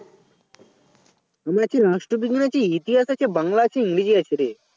আমার আছে রাষ্ট্রবিজ্ঞান আছে ইতিহাস আছে বাংলা আছে ইংরেজি আছে রে